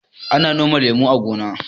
Ana noman lemu a gona.